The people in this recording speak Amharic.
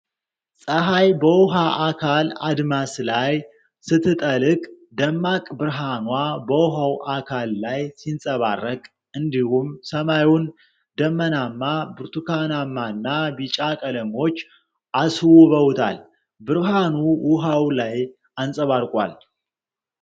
ፀሐይ በውኃ አካል አድማስ ላይ ስትጠልቅ ደማቅ ብርሃኗ በውሃው አካል ላይ ሲንጸባረቅ እንዲሁም ሰማዩን ደመናማ፣ ብርቱካናማና ቢጫ ቀለሞች አስውበውታል፣ ብርሃኑ ውኃው ላይ አንፀባርቋል።